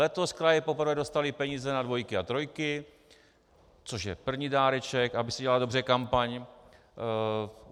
Letos kraje poprvé dostaly peníze na dvojky a trojky, což je první dáreček, aby se dělala dobře kampaň.